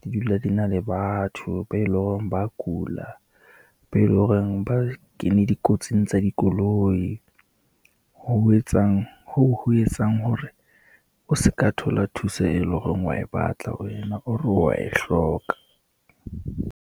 di dula di na le batho be loreng ba kula, be loreng ba kene dikotsing tsa dikoloi. hoo ho etsang hore o se ka thola thuso e leng hore wa e batla wena, or wa e hloka.